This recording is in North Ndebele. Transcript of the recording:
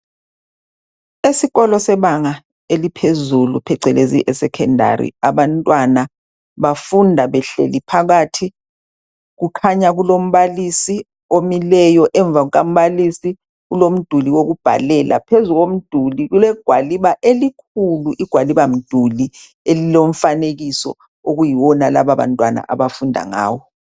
Esikolo sebanga eliphezulu, phecelezi esecondary. Abantwana bafunda behleli phakathi. Kukhanya kulombalisi omileyo. Emuva kukambalisi kulomduli wokubhalela. Phezu komduli, kulegwaliba elikhulu! Igwalibamduli, elilomfanekiso, okuyiwona lababantwana, abafunda ngawo.